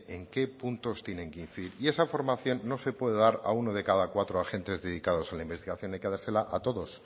en qué puntos tienen que incidir y esa formación no se puede dar a uno de cada cuatro agentes dedicados a la investigación hay que dársela a todos